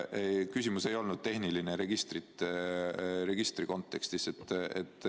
Küsimus ei olnud selle registri kontekstis.